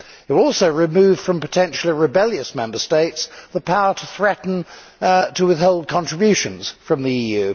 You also remove from potentially rebellious Member States the power to threaten to withhold contributions from the EU.